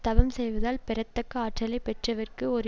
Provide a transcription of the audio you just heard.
தவம் செய்வதால் பெறத்தக்க ஆற்றலை பெற்றவர்க்கு ஓர்